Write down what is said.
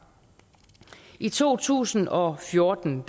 i to tusind og fjorten